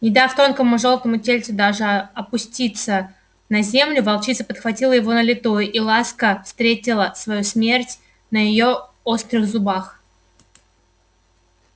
не дав тонкому жёлтому тельцу даже опуститься на землю волчица подхватила его на лету и ласка встретила свою смерть на её острых зубах